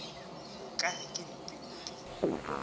o ka re ke mpimpi